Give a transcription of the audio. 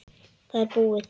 Það er búið.